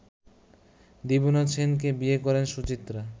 দীবানাথ সেনকে বিয়ে করেন সুচিত্রা